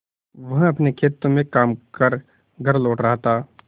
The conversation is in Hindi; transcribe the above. वह अपने खेतों में काम कर घर लौट रहा था